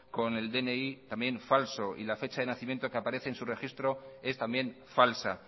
con el dni también falso y la fecha de nacimiento que aparece en su registro es también falsa